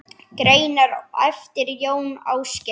Greinar eftir Jón Ásgeir